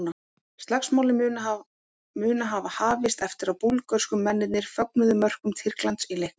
Slagsmálin munu hafa hafist eftir að búlgörsku mennirnir fögnuðu mörkum Tyrklands í leiknum.